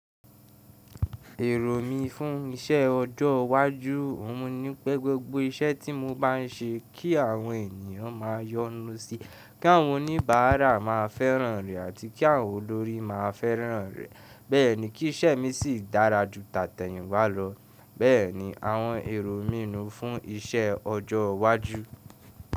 Èrò mí fún isẹ ọjọ́ iwájú ọ̀hun ni pé gbogbo isẹ tí mo bá n ṣe kí àwọn ènìyàn máa yọnu sí, kí àwọn oníbàárà máa fẹ́ràn rẹ àti kí àwọn olórí máa fẹ́ràn rẹ̀. Bẹ́ẹ̀ ni, kí ìṣẹ mi sì dára ju tàtẹ̀yìnwá lọ. Bẹ́ẹ̀ ni àwọn èrò mí nu fún isẹ ọjọ iwájú.